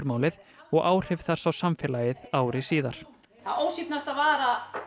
Klausturmálið og áhrif þess á samfélagið ári síðar það ósvífnasta var að